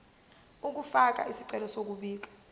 ukufaka isicelo sokubika